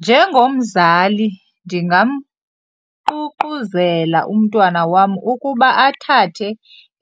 Njengomzali ndingamququzela umntwana wam ukuba athathe